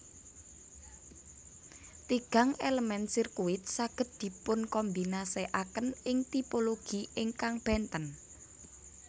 Tigang elemen sirkuit saged dipunkombinasikaken ing tipologi ingkang benten